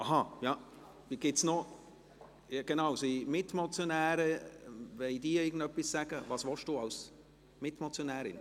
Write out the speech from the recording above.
– Ach ja, genau: Gibt es Mitmotionäre, die etwas sagen wollen?